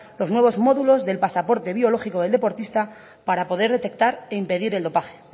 los nuevos módulos del pasaporte biológico del deportista para poder detectar e impedir el dopaje